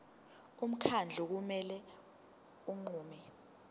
umkhandlu kumele unqume